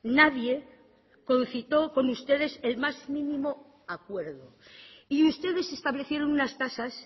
nadie concitó con ustedes el más mínimo acuerdo y ustedes establecieron unas tasas